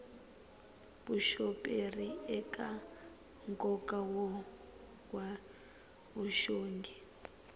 vuxoperi eka nkoka wa vuxongi